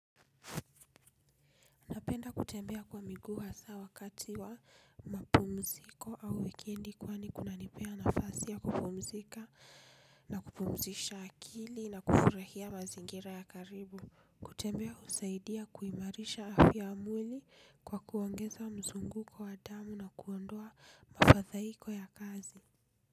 Napenda kutembea kwa miguu hasaa wakati wa mapumziko au weekendi kwani kunanipea nafasi ya kupumzika na kupumzisha akili na kufurahia mazingira ya karibu. Kutembea husaidia kuimarisha afya ya mwili kwa kuongeza mzunguko wa damu na kuondoa mafathaiko ya kazi.